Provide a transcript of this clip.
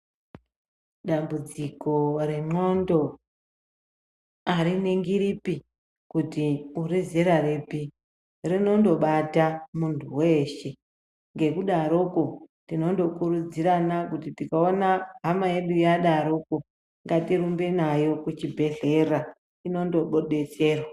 Dambudziko rendxondo hariningiripi kuti urizera ripi rinondobata muntu weshee ngekudarokwo tinondokurudzirana kuti tikaona hama yedu yadarokwo ngatirumbe nayo kuchibhedhlera inondodetserwa.